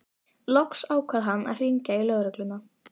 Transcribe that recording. Loks ákvað hann að hringja í lögregluna.